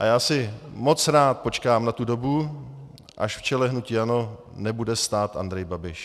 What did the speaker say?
A já si moc rád počkám na tu dobu, až v čele hnutí ANO nebude stát Andrej Babiš.